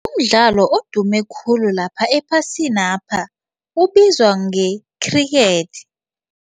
Umdlalo odume khulu lapha ephasinapha ubizwa nge-cricket.